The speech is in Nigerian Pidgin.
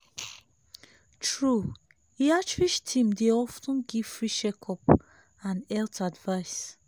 true e outreach teams dey of ten give free check-ups and health advice.